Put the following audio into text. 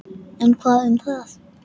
En hvað um það!